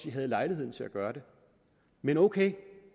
havde lejligheden til at gøre det men ok